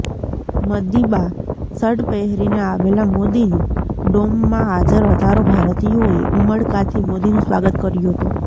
Madiba shirt પહેરીને આવેલા મોદીનું ડોમમાં હાજર હજારો ભારતીયોએ ઉમળકાથી મોદીનું સ્વાગત કર્યું હતું